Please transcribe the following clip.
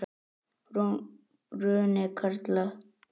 Bruni karla.